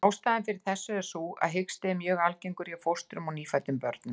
Ástæðan fyrir þessu er sú að hiksti er mjög algengur hjá fóstrum og nýfæddum börnum.